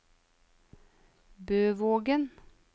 Bøvågen